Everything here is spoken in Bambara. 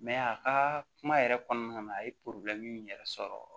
a ka kuma yɛrɛ kɔnɔna na a ye in yɛrɛ sɔrɔ